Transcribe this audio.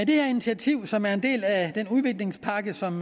det her initiativ som er en del af den udviklingspakke som